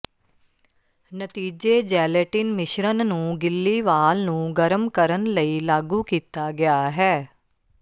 ਨਤੀਜੇ ਜੈਲੇਟਿਨ ਮਿਸ਼ਰਣ ਨੂੰ ਗਿੱਲੀ ਵਾਲ ਨੂੰ ਗਰਮ ਕਰਨ ਲਈ ਲਾਗੂ ਕੀਤਾ ਗਿਆ ਹੈ